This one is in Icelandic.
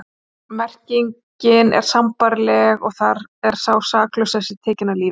Merkingin er sambærileg og þar er sá saklausi tekinn af lífi.